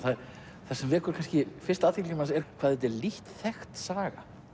það sem vekur kannski fyrst athygli manns er hvað þetta er lítt þekkt saga